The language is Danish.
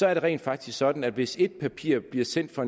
er det rent faktisk sådan at hvis et papir bliver sendt fra